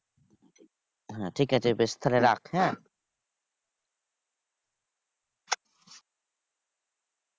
হ্যাঁ ঠিকাছে বেশ তাহলে রাখ হ্যাঁ?